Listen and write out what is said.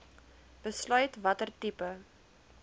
besluit watter tipe